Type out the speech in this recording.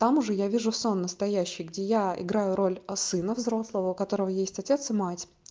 там уже я вижу сон настоящий где я играю роль а сына взрослого у которого есть отец и мать